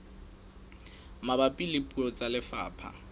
mabapi le puo tsa lefapha